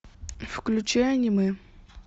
включи аниме